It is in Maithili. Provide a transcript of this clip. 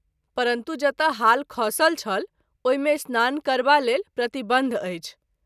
परन्तु जतय हाल खसल छल ओहि मे स्नान करबा लेल प्रतिबंध अछि।